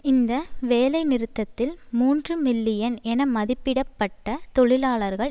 இந்த வேலைநிறுத்தத்தில் மூன்று மில்லியன் என மதிப்பிட பட்ட தொழிலாளர்கள்